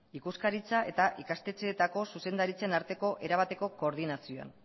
ikuskaritza eta ikastetxeetako zuzendaritzen arteko erabateko koordinazioan